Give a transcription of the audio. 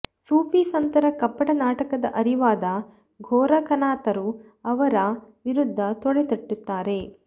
ಸೂಫಿ ಸಂತರ ಕಪಟ ನಾಟಕದ ಅರಿವಾದ ಗೋರಖನಾಥರು ಅವರ ವಿರುದ್ದ ತೊಡೆತಟ್ಟುತ್ತಾರೆ